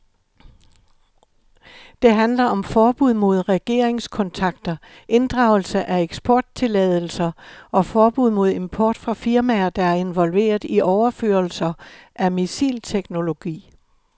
Det handler om forbud mod regeringskontakter, inddragelse af eksporttilladelser og forbud mod import fra firmaer, der er involveret i overførelser af missilteknologi.